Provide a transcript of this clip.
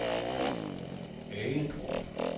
Agedrup